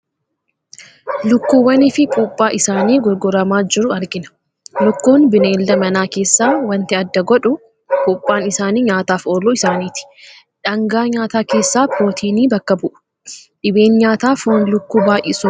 Lukkuuwwanii fi puuphaa isaanii gurguramaa jiru argina. Lukkuun bineelda manaa keessaa waanti adda godhu, puuphaan isaanii nyaataaf ooluu isaaniiti. Dhaangaa nyaataa keessaa Pirootinii bakka bu'u. Dhibeen nyaata foon lukkuu baay'isuun dhufu maal fa'i?